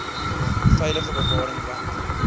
veilige bewaring want